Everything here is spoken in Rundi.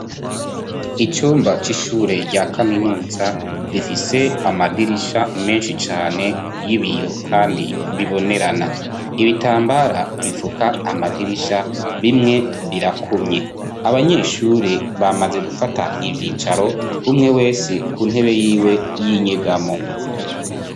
Icumba c'ishure rya kaminutsa rifise amadirisha menshi cane y'ibiyo kandi bibonerana .Ibitambara bifuka amadirisha bimwe birakumye abanyeshure bamaze gufata ivyicaro umwe wese ku ntebe yiwe y'inyegamo